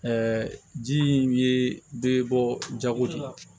ji in ye bɛɛ bɔ jago de la